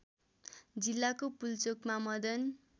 जिल्लाको पुल्चोकमा मदन